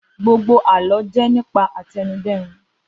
Gbogbo àlọ́ jẹ́ nípa àtẹnudẹ́nu